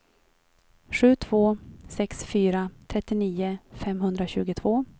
sju två sex fyra trettionio femhundratjugotvå